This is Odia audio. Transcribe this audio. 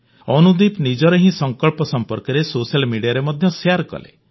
ଅନୁଦୀପ ନିଜର ହି ସଂକଳ୍ପ ସଂପର୍କରେ ସୋସାଲ ମିଡିଆରେ ମଧ୍ୟ ଶେୟାର କଲେ